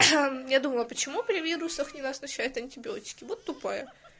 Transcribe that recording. я думала почему при вирусах не назначают антибиотики вот тупая